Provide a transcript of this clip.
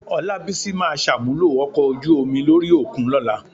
Ọlábísí máa ṣàmúlò ọkọ̀ ojú omi lórí òkun lọ́la.